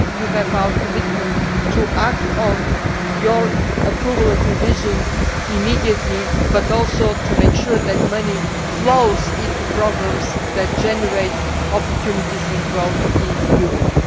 You have our commitment to act on your approval of revision immediately but also to make sure that money flows into programmes that generate opportunities and growth in Europe.